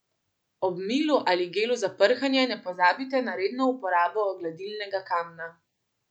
Ob milu ali gelu za prhanje ne pozabite na redno uporabo gladilnega kamna.